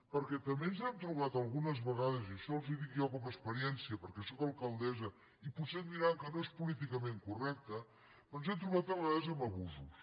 perquè també ens hem trobat algunes vegades i això els ho dic jo com a experiència perquè sóc alcaldessa i potser em diran que no és políticament correcte ens hem trobat a vegades amb abusos